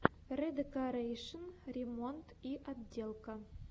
редекорэйшн ремонт и отделка